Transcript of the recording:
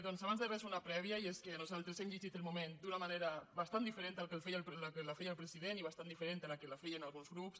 doncs abans de res una prèvia i és que nosaltres hem llegit el moment d’una manera bastant diferent de com ho feia el president i bastant diferent de com ho feien alguns grups